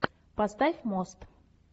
поставь мост